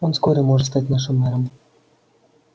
он вскоре может стать нашим мэром